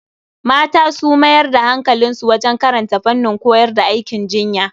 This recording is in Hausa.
Mata su mayar da hankali wajen karanta fannin koyar da aikin jinya.